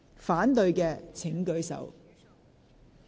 反對的請舉手。